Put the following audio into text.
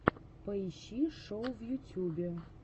поищи шоу в ютьюбе